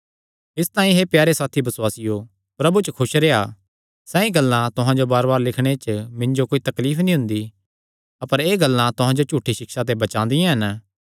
इसतांई हे प्यारे साथी बसुआसियो प्रभु च खुस रेह्आ सैई गल्लां तुहां जो बारबार लिखणे च मिन्जो तां कोई तकलीफ नीं हुंदी अपर एह़ गल्लां तुहां जो झूठी सिक्षा ते बचादियां हन